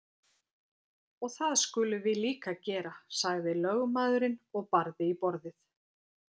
Og það skulum við líka gera, sagði lögmaðurinn og barði í borðið.